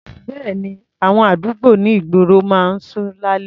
Bẹ́ẹ̀ni, àwọn àdúgbò ní ìgboro máa ń ṣú lálẹ́.